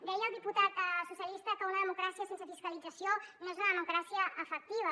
deia el diputat socialista que una democràcia sense fiscalització no és una democràcia efectiva